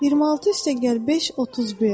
26 + 5 = 31.